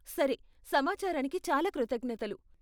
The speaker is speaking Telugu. సరే, సమాచారానికి చాలా కృతజ్ఞతలు.